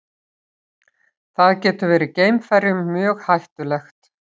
Það getur verið geimferjum mjög hættulegt.